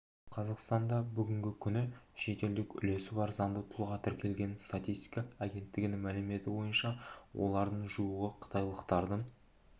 қазақстанда бүгінгі күні шетелдік үлесі бар заңды тұлға тіркелген статистика агенттігінің мәліметі бойынша олардың жуығы қытайлықтардың